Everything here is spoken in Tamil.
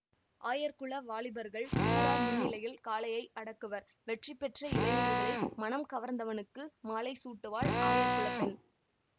ஆயர் குல வாலிபர்கள் ஊரார் முன்னிலையில் காளையை அடக்குவர் வெற்றி பெற்ற இளைஞர்களில் மனம் கவர்ந்தவனுக்கு மாலை சூட்டுவாள் ஆயர் குல பெண்